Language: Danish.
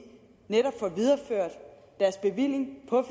netop får videreført deres bevilling på